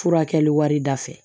Furakɛli wari da fɛ